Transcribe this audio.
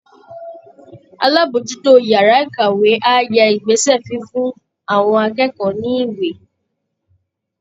Alábòójútó yàrá ìkàwé á yẹ ìgbésẹ̀ fífún àwọn akẹ́kọ̀ọ́ ní ìwé